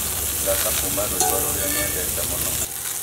thaka kũũma rwĩmbo rũrĩa nyendete mũno